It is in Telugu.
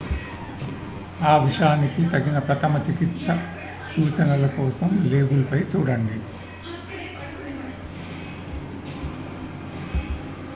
ఆ విషానికి తగిన ప్రథమ చికిత్స సూచనల కోసం లేబుల్ పై చూడండి